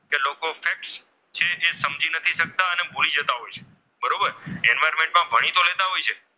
જે લોકો અને સમજી નથી શકતા અને બોલી જતા હોય છે બરોબર એન્વાયરમેન્ટમાં ભણી તો લેતા હોય છે,